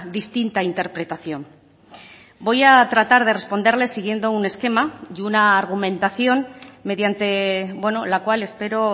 distinta interpretación voy a tratar de responderle siguiendo un esquema y una argumentación mediante la cual espero